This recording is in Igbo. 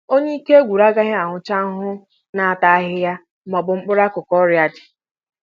Onye ike gwụrụ agaghị ahụcha ahụhụ na-ata ahịhịa maọbụ mkpụrụ akụkụ ọrịa dị